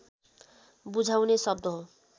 बुझाउने शब्द हो